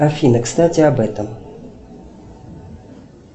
афина кстати об этом